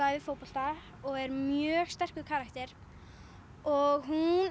æfir fótbolta og er mjög sterkur karakter og hún